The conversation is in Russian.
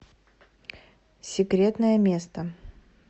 секретное место